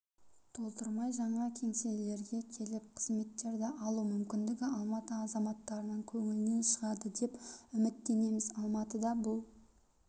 толтырмай жаңа кеңселерге келіп қызметтерді алу мүмкіндігі алматы азаматтарының көңілінен шығады деп үміттенеміз алматыда бұл